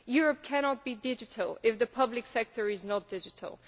Europe cannot be digital if the public sector is not digital.